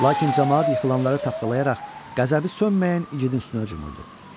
Lakin camaat yıxılanları tapdalayaraq qəzəbi sönməyən igidin üstünə hücumurdu.